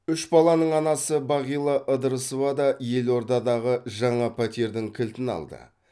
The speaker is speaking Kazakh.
үш баланың анасы бағила ыдырысова да елордадағы жаңа пәтердің кілтін алды